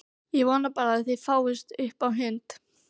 Ég vona bara að það fáist upp á hund!